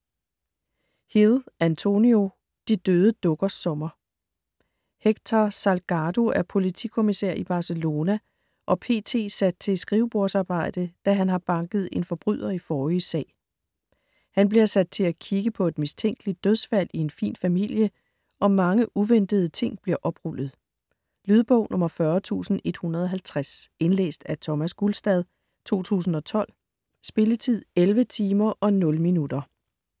Hill, Antonio: De døde dukkers sommer Héctor Salgado er politikommissær i Barcelona og p.t. sat til skrivebordsarbejde, da han har banket en forbryder i forrige sag. Han bliver sat til at kigge på et mistænkeligt dødsfald i en fin familie, og mange uventede ting bliver oprullet. Lydbog 40150 Indlæst af Thomas Gulstad, 2012. Spilletid: 11 timer, 0 minutter.